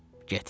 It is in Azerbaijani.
Get.